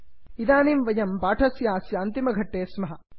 इदानीं वयं पाठस्यास्य अन्तिमघट्टे स्मः